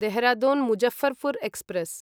Dehradun Muzaffarpur express